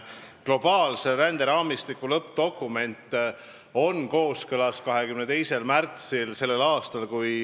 Globaalse ränderaamistiku lõppdokumenti arutas valitsus 22. märtsil s.